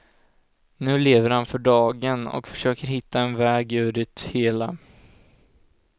Nu lever han för dagen, och försöker hitta en väg ur det hela.